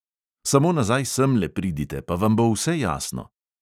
Samo nazaj semle pridite, pa vam bo vse jasno!